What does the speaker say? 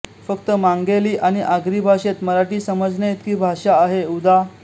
फक्त मांगेली आणि आगरी भाषेत मराठी समजण्याइतकी भाषा आहे उदा